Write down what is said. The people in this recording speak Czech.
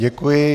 Děkuji.